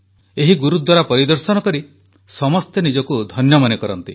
ଏହି ଗୁରୁଦ୍ୱାରା ପରିଦର୍ଶନ କରି ସମସ୍ତେ ନିଜକୁ ଧନ୍ୟ ମନେ କରନ୍ତି